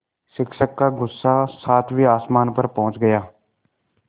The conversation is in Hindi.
शिक्षक का गुस्सा सातवें आसमान पर पहुँच गया